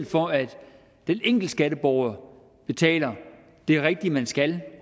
for at den enkelte skatteborger betaler det rigtige man skal